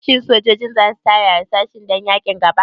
Shin sojojin za su tara harsashai dan yaƙin gaba?